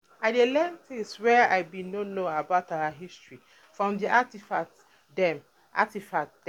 I learn tins wey I bin no know about our history from di artifacts dem. artifacts dem.